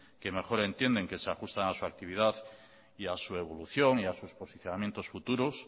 que mejor entiende que se ajustan a su actividad y a su evolución y a sus posicionamientos futuros